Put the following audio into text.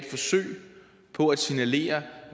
forsøg på at signalere